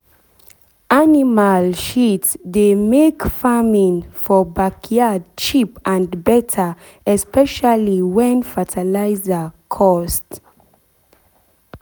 animal shit dey make farming for backyard cheap and better especially when fertilizer cost. cost.